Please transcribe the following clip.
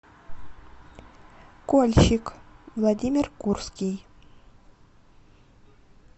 кольщик владимир курский